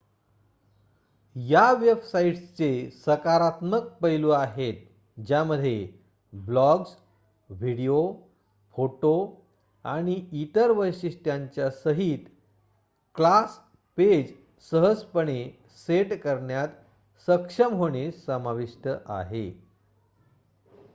या वेबसाइट्सचे सकारात्मक पैलू आहेत ज्यामध्ये ब्लॉग्ज व्हिडिओ फोटो आणि इतर वैशिष्ट्यांच्या सहित क्लास पेज सहजपणे सेट करण्यात सक्षम होणे समाविष्ट आहे